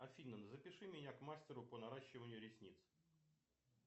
афина запиши меня к мастеру по наращиванию ресниц